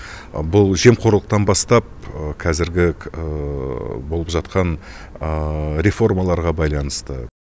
бұл жемқорлықтан бастап қазіргі болып жатқан реформаларға байланысты